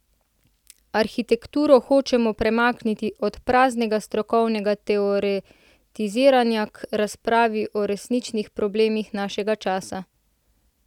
Arhitekturo hočemo premakniti od praznega strokovnega teoretiziranja k razpravi o resničnih problemih našega časa.